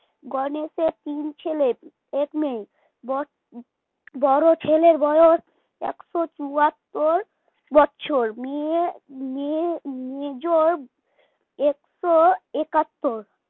গণেশের তিন ছেলে এক মেয়ে বড় বড় ছেলের বয়স একশো চুয়াত্তর বছর মেয়ের মেয়ের মেজর একশো একাত্তর